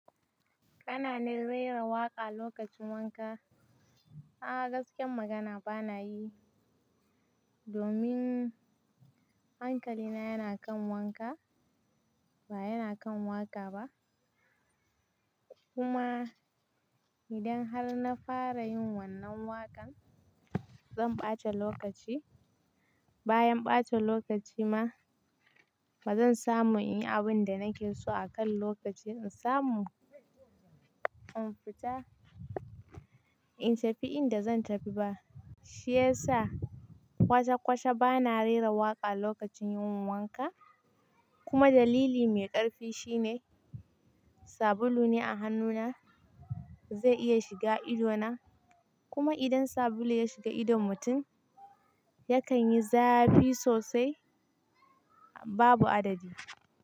Kana rera waƙa lokacin wanka? A'a gaskiyar magana bana yi, domin hankali na yana kan wanka, ba yana kan waƙa ba. Kuma idan har na fara yin wannan waƙan, zan ɓata lokaci. Bayan ɓata lokaci ma, bazan samu in yi abin da nake so akan lokaci. In samu, in fita, in tafi inda zan tafi ba. Shi yasa kwasakwasa bana rera waƙa lokacin yin wanka. Kuma dalili mai ƙarfi shine sabulu ne a hannuna zai iya shiga ido na. Kuma idan sabulu ya shiga idon mutum yakan yi zafi sosai, babu adadi.